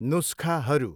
नुस्खाहरू।